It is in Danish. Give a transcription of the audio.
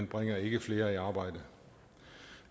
bringer ikke flere i arbejde